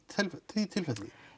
því tilfelli